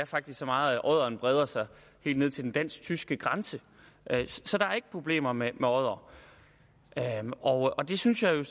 faktisk så meget at odderen breder sig helt ned til den dansk tyske grænse så der er ikke problemer med oddere og det synes jeg